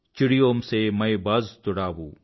చిడియోం సే మై బాజ్ తుడావూ